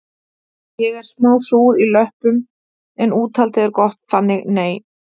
Ég er smá súr í löppum en úthaldið er gott þannig nei